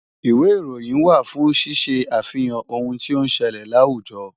Ìwé ìròyìn wà fún ṣíṣe àfihàn ohun tí ó ń ṣẹlẹ̀ láwùjọ.